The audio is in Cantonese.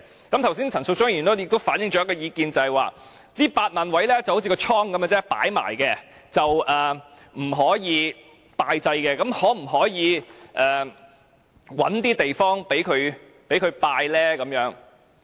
剛才陳淑莊議員亦反映一項意見，就是這8萬個位就好像一個倉般只作擺放，不可以供人拜祭，那麼可否找地方讓人拜祭？